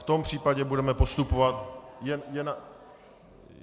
V tom případě budeme postupovat...